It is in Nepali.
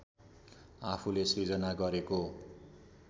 आफूले सृजना गरेको